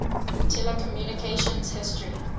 telecommunications history